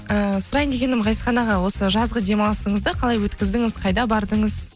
ыыы сұрайын дегенім ғазизхан аға осы жазғы демалысыңызды қалай өткіздіңіз қайда бардыңыз